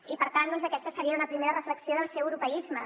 i per tant aquesta seria una primera reflexió del seu europeisme